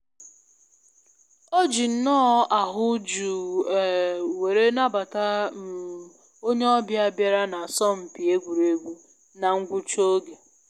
Ọ ji nnọọ ahụ jụụ um were nabata um onye ọbịa bịara na asọmpi egwuregwu na ngwucha oge